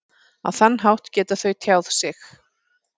Á þann hátt geta þau tjáð sig.